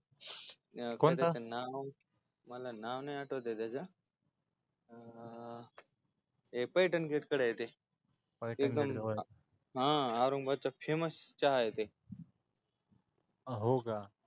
कोणता काय त्याच नाव मला नाव नाही आठवतय त्याच अं ते पैठणचे ते पैठणजा हा औरंगबादचा famous चहाय ते